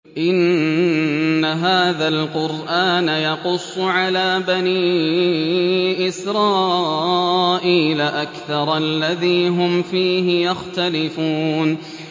إِنَّ هَٰذَا الْقُرْآنَ يَقُصُّ عَلَىٰ بَنِي إِسْرَائِيلَ أَكْثَرَ الَّذِي هُمْ فِيهِ يَخْتَلِفُونَ